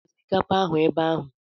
Lee osikapa ahụ ebe ahụ.